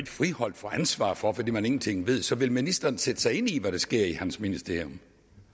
friholdt for ansvar fordi man ingenting ved så vil ministeren sætte sig ind i hvad der sker i hans ministerium